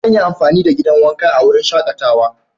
Zan yi amfani da gidan wanka a wurin shakatawa.